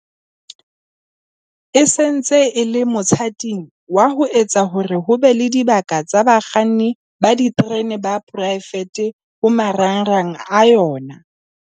E se ntse e le mothating wa ho etsa hore ho be le dibaka tsa bakganni ba diterene ba poraefete ho marangrang a yona.